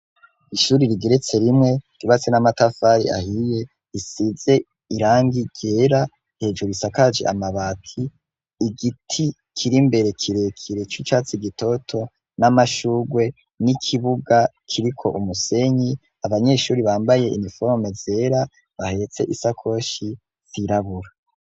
Ishuri rigeretse rimwe ribatse n'amatafari ahiye isize irangi ryera hejuru isakaje amabati igiti kiri mbere kirekire c'ucatsi gitoto n'amashurwe n'ikibuga kiri ko umusenyi abanyeshuri bambaye iniforme zera bahetse isa koshi i silabura.